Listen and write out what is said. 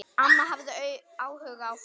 Amma hafði áhuga á fólki.